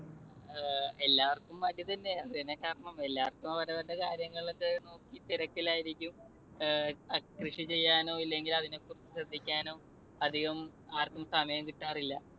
എല്ലാവർക്കും മടി തന്നെയാ. പിന്നെ എല്ലാവർക്കും അവരവരുടെ കാര്യങ്ങളൊക്കെ നോക്കി തിരക്കിലായിരിക്കും. കൃഷി ചെയ്യാനോ ഇല്ലെങ്കിൽ അതിനെകുറിച്ച് ശ്രദ്ധിക്കാനോ അധികമാർക്കും സമയം കിട്ടാറില്ല.